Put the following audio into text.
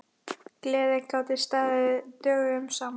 Gleðir gátu staðið dögum saman.